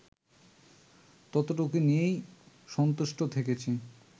ততটুকু নিয়েই সন্তুষ্ট থেকেছি